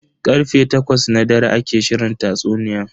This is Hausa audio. Karfe takwas na dare ake shirin tatsuniyan.